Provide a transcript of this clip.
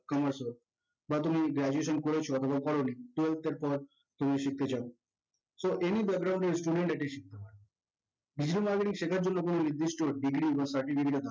commerce হোক বা তুমি graduation করেছো অথবা করোনি তো তারপর তুমি shift হয়ে যাও so এই student এগুলি শিখতে হয় digital marketing শিখার জন্য কোনো নির্দিষ্ট degree or certificate এর